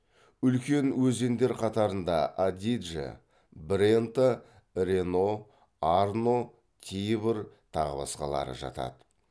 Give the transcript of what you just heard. үлкен өзендер қатарына адидже брента рено арно тибр тағы басқалары жатады